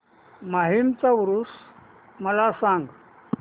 माहीमचा ऊरुस मला सांग